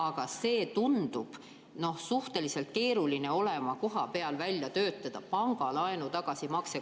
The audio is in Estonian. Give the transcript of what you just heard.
Aga tundub suhteliselt keeruline kohapeal välja töötada pangalaenu tagasimakset.